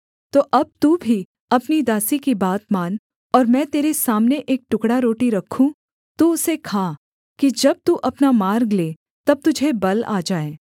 तो अब तू भी अपनी दासी की बात मान और मैं तेरे सामने एक टुकड़ा रोटी रखूँ तू उसे खा कि जब तू अपना मार्ग ले तब तुझे बल आ जाए